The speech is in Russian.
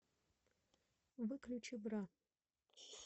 выключи бра